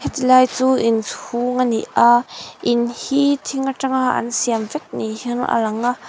chulai chu in chhûng a ni a in hi thing aṭanga an siam vek ni hian a lang a.